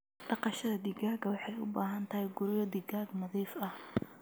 Dhaqashada digaaga waxay u baahan tahay guryo digaag nadiif ah.